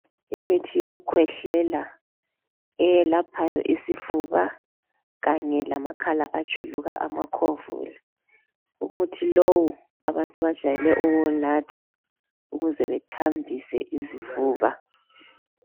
Imithi yokukhwehlela eyelaphayo isifuba kanye lamakhala ajuluka amakhovula, umuthi lowu abantu bajayele ukuwunatha ukuze bethambise izifuba.